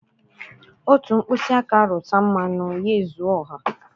Otu mkpịsị aka rụta mmanụ, ya ezuo ọha